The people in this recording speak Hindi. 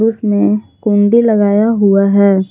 उसमें कुंडी लगाया हुआ है।